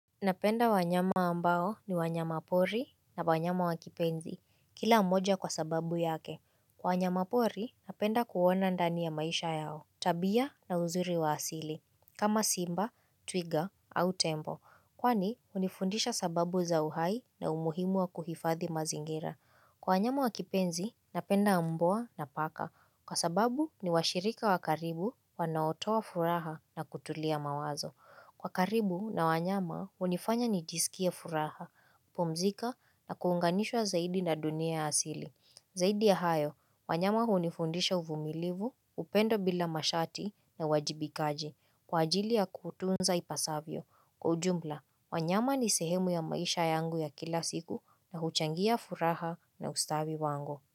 Napenda wanyama ambao ni wanyama pori na wanyama wakipenzi, kila mmoja kwa sababu yake. Kwa wanyama pori, napenda kuona ndani ya maisha yao, tabia na uzuri wa asili, kama simba, twiga au tembo. Kwani, hunifundisha sababu za uhai na umuhimu wa kuhifadhi mazingira. Kwa wanyama wakipenzi, napenda mbwa na paka. Kwa sababu, ni washirika wakaribu, wanaotoa furaha na kutulia mawazo. Kwa karibu na wanyama, hunifanya ni jiskie furaha, pumziko na kuunganishwa zaidi na dunia ya asili. Zaidi ya hayo, wanyama hunifundisha uvumilivu, upendo bila masharti na uwajibikaji. Kwa ajili ya kutunza ipasavyo. Kwa ujumla, wanyama ni sehemu ya maisha yangu ya kila siku na huchangia furaha na ustawi wangu.